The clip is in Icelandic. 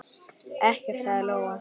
Ekkert, sagði Lóa.